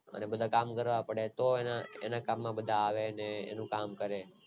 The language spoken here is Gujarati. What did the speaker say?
અને બધા કામ કરવા પડે તો એની સામે બધા આવે ને બધા એનું કામ કરે